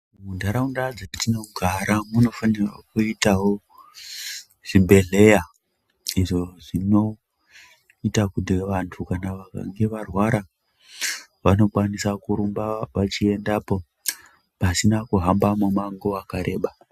Munharaunda dzatinogara munofanirwa kuitavo zvibhedhleya. Izvo zvonoita kuti vantu vakange varwara vanokwanisa kurumba vachiendapo pasina kuhamba mumango wakareba.